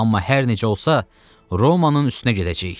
Amma hər necə olsa, Romanın üstünə gedəcəyik.